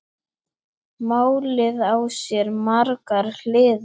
Málið á sér margar hliðar.